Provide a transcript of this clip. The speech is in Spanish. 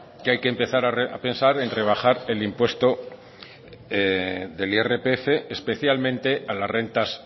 que hay que empezar a pensar en rebajar el impuesto del irpf especialmente a las rentas